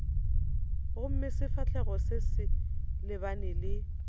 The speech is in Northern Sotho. gomme sefahlogo se lebane le